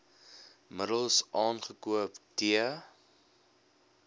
middels aangekoop t